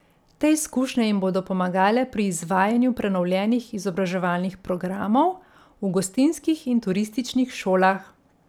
Te izkušnje jim bodo pomagale pri izvajanju prenovljenih izobraževalnih programov v gostinskih in turističnih šolah.